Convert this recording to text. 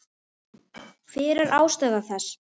Hver er ástæða þess?